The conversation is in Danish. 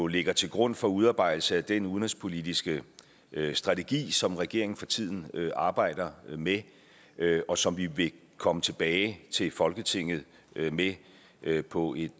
ligger til grund for udarbejdelsen af den udenrigspolitiske strategi som regeringen for tiden arbejder med og som vi vil komme tilbage til folketinget med på et